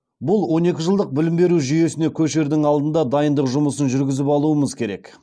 бұл он екі жылдық білім беру жүйесіне көшердің алдында дайындық жұмысын жүргізіп алуымыз керек